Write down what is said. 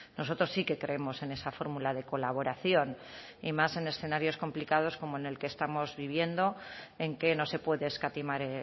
nosotros sí que creemos en esa fórmula de colaboración y más en escenarios complicados como en el que estamos viviendo en que no se puede escatimar